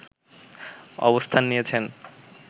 অবস্থান নিয়েছেন